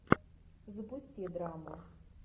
запусти драму